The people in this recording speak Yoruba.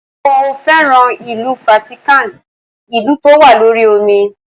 Mo féràn ìlú Fátíkàn, ìlú tó wà lórí omi.